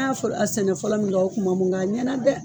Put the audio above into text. An y'a fɔlɔ a sɛnɛ fɔlɔ min kɛ o kuma man bon mɛ a ɲɛna dɛ.